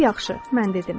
Lap yaxşı, mən dedim.